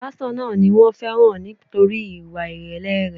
Pásítọ̀ náà ni wón féràn nítorí ìwà ìrèlè rẹ̀.